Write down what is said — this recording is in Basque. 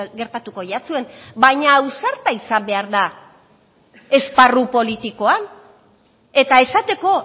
gertatuko jatzuen baina ausarta izan behar da esparru politikoan eta esateko